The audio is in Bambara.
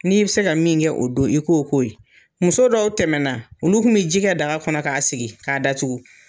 N'i bɛ se ka min kɛ o don i k'o ko ye, muso dɔw tɛmɛna, olu tun bɛ ji kɛ daga kɔnɔ k'a sigi k'a datugu.